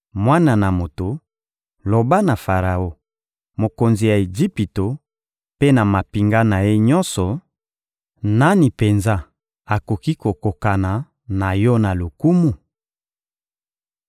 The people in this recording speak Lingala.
«Mwana na moto, loba na Faraon, mokonzi ya Ejipito, mpe na mampinga na ye nyonso: ‹Nani penza akoki kokokana na yo na lokumu?